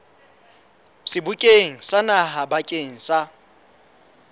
sebokeng sa naha bakeng sa